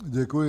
Děkuji.